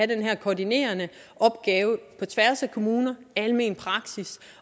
den her koordinerende opgave på tværs af kommune almen praksis